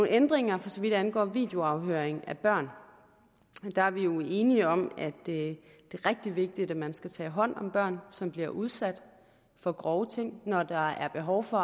ændringer for så vidt angår videoafhøring af børn der er vi jo enige om at det er rigtig vigtigt at man skal tage hånd om børn som bliver udsat for grove ting når der er behov for